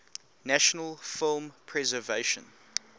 national film preservation